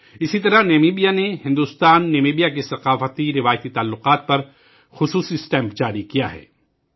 اسی طرح نمیبیا میں بھارت نمیبیا کے ثقافتیروایتی تعلقات پر خصوصی ٹکٹ جاری کیا گیا